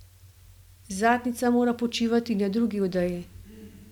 Zadnjica mora počivati na drugi odeji.